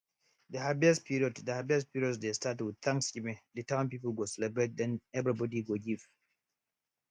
de harvest period de harvest period dey start with thanksgiving de town people go celebrate den everybody go give